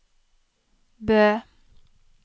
Bø